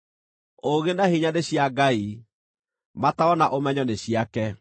“Ũũgĩ na hinya nĩ cia Ngai; mataaro na ũmenyo nĩ ciake.